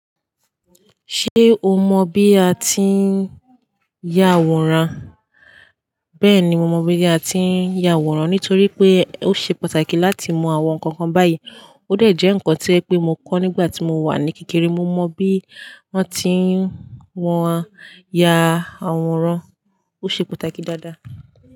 Ṣé o mọ bí a ti ń ya àwòrán? Bẹ́ẹ̀ni, mo mọ bí a ti ń ya àwòrán nítorí pé ó ṣe pàtàkì láti mọ àwọn nǹkan báyìí. Ó de jẹ́ ǹkan to ẹ pé mo kọ́ nígbà tí mo wà ní kékeré. Mo mọ bí wọ́n ti ń wọn ya àwòrán. Ó ṣe pàtàkì dáadáa.